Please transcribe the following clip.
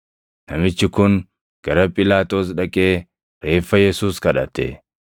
Namichi kun gara Phiilaaxoos dhaqee reeffa Yesuus kadhate.